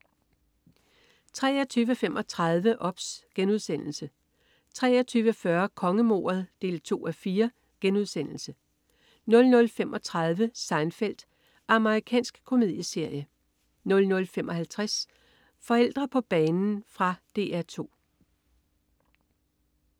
23.35 OBS* 23.40 Kongemordet 2:4* 00.35 Seinfeld. Amerikansk komedieserie 00.55 Forældre på banen. Fra DR 2